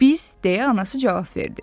Biz, deyə anası cavab verdi.